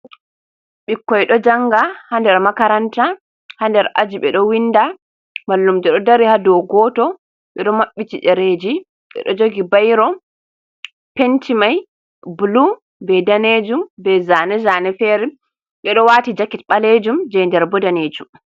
Ɓikkoi ɗo janga ha nder makaranta ha nder aji, ɓe ɗo winda mallum jo ɗo dari ha dou goto, ɓeɗo maɓɓiti ɗereji ɓe ɗo jogi bayro pentimai blu, be ɗanejum, be zane zane fere, ɓeɗo wati jaket balejume je nder bo danejum.